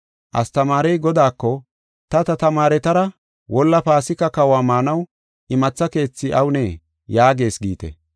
Astamaarey godaako, ‘Ta ta tamaaretara wolla Paasika kahuwa maanaw imatha keethi awunee? yaagis’ giite.